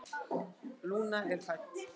Lúna er fædd.